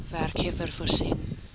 werkgewer voorsien